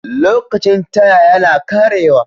Lokacin Taya yana ƙarewa.